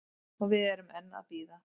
Og við erum enn að bíða